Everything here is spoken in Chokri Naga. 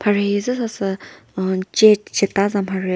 mhare hi zü sasü uhh ce ceta za mharhe.